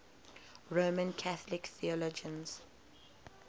roman catholic theologians